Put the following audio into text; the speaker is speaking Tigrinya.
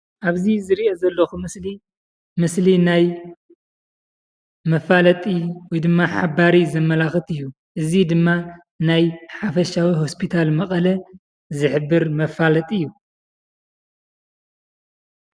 ኣብዚ ዝርእዮ ዘለኩ ምስሊ ምስሊ ናይ መፋለጢ ወይድማ ሓባሪ ዘመላኽት እዩ። እዚ ድማ ናይ ሓፈሻዊ ሆስታል መቐለ ዝሕብር መፋለጢ እዩ።